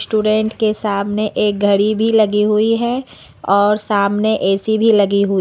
student के सामने एक घड़ी भी लगी हुई है और सामने ए_सी भी लगी हुई--